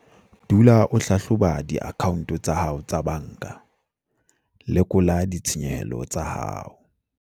Dula o hlahloba diakhaonte tsa hao tsa banka - lekola ditshenyehelo tsa hao.